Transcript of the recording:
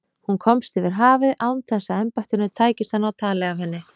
Hún komst yfir hafið án þess að embættinu tækist að ná tali af henni.